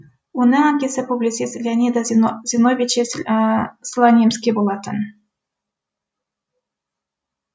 оның әкесі публицист леонида зиновьевич слонимский болатын